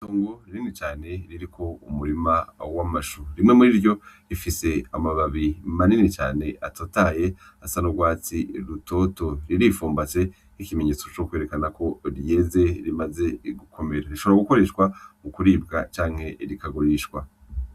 Itongo rinini cane ririko umurima w'amashu rimwe muriryo rifise amababi manini cane atotahaye asa n'urwatsi rutoto riri pfumbase nk'ikimenyetso co kwerekana ko ryeze rimaze gukomera rishobora gukoreshwa mu kuribwa canke rikagurishwa.